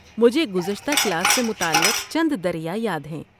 مجھے گزشتہ کلاس سے متعلق چند دریا یاد ہیں۔